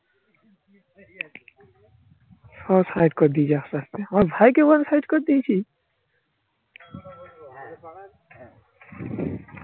সব side করে দিয়েছে আস্তে আস্তে. আমার ভাইকে বলে side করে দিইছি